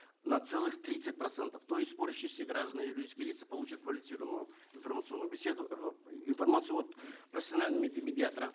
на целых тридцать процентов то есть граждане и юридические лица получат квалифицированную информационную беседу информацию от профессионального медиатора